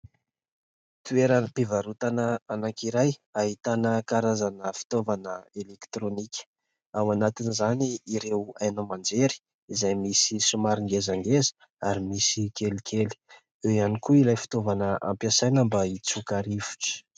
toeran'ny mpivarotana anankiray hahitana karazana fitaovana elektronika ao anatiny izany ireo ainao manjery izay misy somaringezangeza ary misy kelikely ieo ihany koa ilay fitaovana ampiasaina mba hitsoka rivotra